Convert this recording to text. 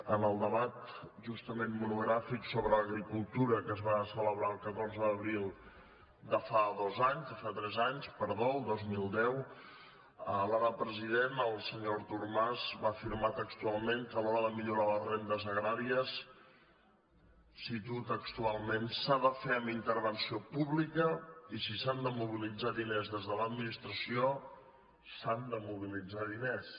en el de·bat justament monogràfic sobre agricultura que es va celebrar el catorze d’abril de fa tres anys el dos mil deu l’ara president el senyor artur mas va afirmar textual·ment que a l’hora de millorar les rendes agràries ho cito textualment s’ha de fer amb intervenció pública i si s’han de mobilitzar diners des de l’administració s’han de mobilitzar diners